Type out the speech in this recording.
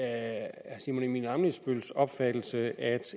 er herre simon emil ammitzbølls opfattelse at